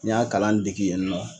N y'a kalan degi yen nɔ.